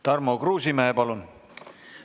Tarmo Kruusimäe, palun!